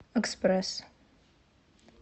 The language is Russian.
экспресс